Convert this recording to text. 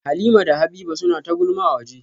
Halimah da Habiba suna ta gulma a waje